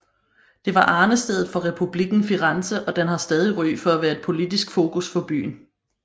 Det var arnestedet for Republikken Firenze og den har stadig ry for at være et politisk fokus for byen